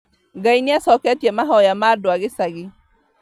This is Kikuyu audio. Ngai nĩacoketie mahoya ma andu a gĩcagi